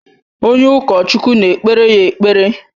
Onye ụkọchukwu na-ekpere ya ekpere.